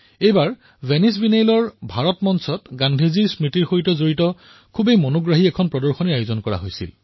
এইবাৰ ভেনিচ বাইনেলৰ ইণ্ডিয়া পেভিলিয়নত গান্ধীজীৰ স্মৃতিৰ সৈতে জড়িত অনেক আকৰ্ষণীয় প্ৰদৰ্শনীৰ আয়োজন কৰা হৈছে